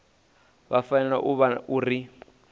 vha fanela u vhona uri